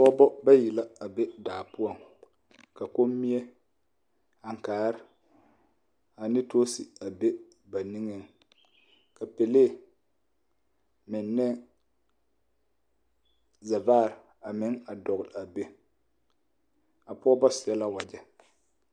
Pɔgeba bayi la a be daa poɔ ka kommie ankaare ane toose a be ba niŋeŋ ka pɛlee meŋ ne zɛvaare a meŋ a dɔgle a be a pɔgeba seɛ la wagyɛ.